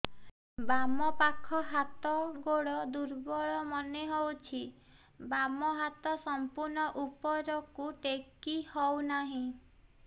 ବାମ ପାଖ ହାତ ଗୋଡ ଦୁର୍ବଳ ମନେ ହଉଛି ବାମ ହାତ ସମ୍ପୂର୍ଣ ଉପରକୁ ଟେକି ହଉ ନାହିଁ